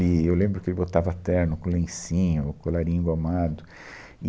E, eu lembro que ele botava terno com lencinho, o colarinho engomado e.